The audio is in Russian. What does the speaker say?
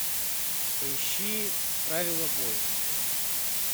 поищи правила бойни